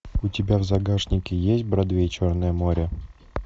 у тебя в загашнике есть бродвей черное море